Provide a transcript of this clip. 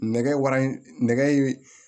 Nɛgɛ wara nɛgɛ